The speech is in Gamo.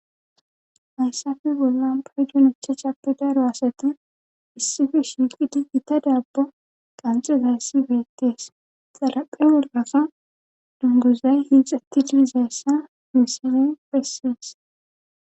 hayssafe bollan paydunucha capi daro asati issife shiiqidiggita daabbo qanxezayssi beettees salaphe wollafa dunguzay hiixatti didizayssa misine bessies